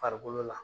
Farikolo la